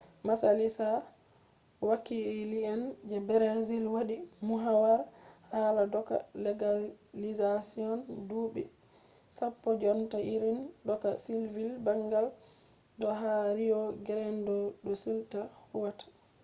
majalisa wakile’en je brazil wadi muhawara hala doka legalizashon dubi 10 jonta irin doka sivil bangal do ha rio grande do sul ta huwata